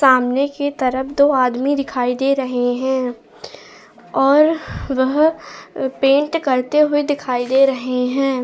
सामने की तरफ दो आदमी दिखाई दे रहे हैं और वह पेंट करते हुए दिखाई दे रहे हैं।